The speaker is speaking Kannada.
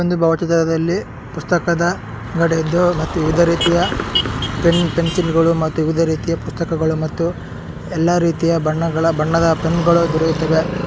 ಈ ಒಂದು ಭಾವಚಿತ್ರದಲ್ಲಿ ಪುಸ್ತಕದ ಅಂಗಡಿಯಿದ್ದು ಮತ್ತು ವಿವಿಧ ರೀತಿಯ ಪೆನ್ ಪೆನ್ಸಿಲ್ ಗಳು ಮತ್ತು ವಿವಿಧ ರೀತಿಯ ಪುಸ್ತಕಗಳು ಮತ್ತು ಎಲ್ಲಾ ರೀತಿಯ ಬಣ್ಣಗಳ ಬಣ್ಣದ ಪೆನ್ ಗಳು ದೊರೆಯುತ್ತವೆ.